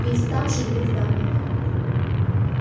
ведь там же есть дамблдор